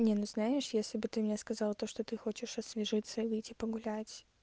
не ну знаешь если бы ты мне сказал то что ты хочешь освежиться и выйти погулять